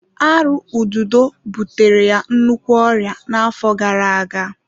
Arụ ududo butere ya nnukwu ọrịa n'afọ gara-aga.